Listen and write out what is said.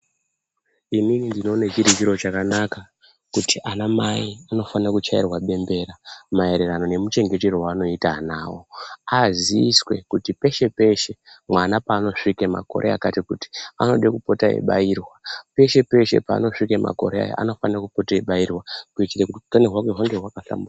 Inini ndinoone chiri chiro chakanaka kuti anamai anofanirwa kuchaire bembera maererano nemachengetero aanoita ana avo, aziiswe kuti peshe-peshe mwana paanosvika makore akati kuti, anode kupota eibairwa kuitire kuti hutano hwake hunge hwaka hlamburuka.